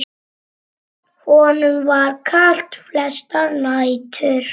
Honum var kalt flestar nætur.